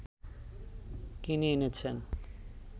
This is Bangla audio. কিনে এনেছেন